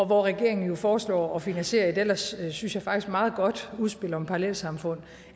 hvor regeringen jo foreslår at finansiere et ellers synes jeg meget godt udspil om parallelsamfund